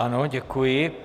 Ano, děkuji.